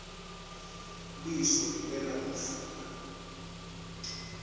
liso liwela umfula